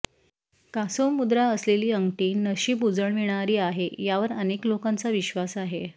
कासवमुद्रा असलेली अंगठी नशीब उजळविणारी आहे यावर अनेक लोकांचा विश्वास आहे